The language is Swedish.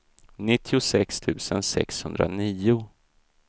nittiosex tusen sexhundranio